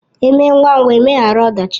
Eme ngwa ngwa emeghara ọdachi